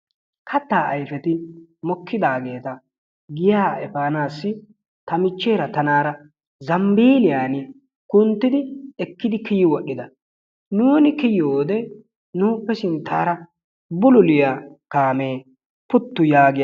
Kattaa ayifeti mokkidaageeta giyaa efaanaassi ta michcheera tanaara zambiiliyani kunttidi ekkidi kiyi wodhida. Nuuni kiyiyoode nuuppe sinttaara bululiya kaamee puttu yaagi agis.